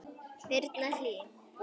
Birna Hlín.